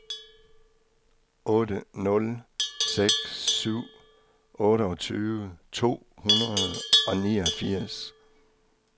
otte nul seks syv otteogtyve to hundrede og niogfirs